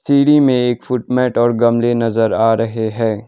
सीढ़ी में एक फुट मैट और गमले नजर आ रहे है।